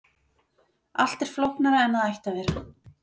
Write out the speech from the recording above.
Allt er flóknara en það ætti að vera.